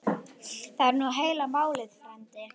Það er nú heila málið frændi.